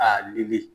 A wuli